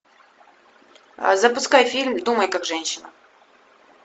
запускай фильм думай как женщина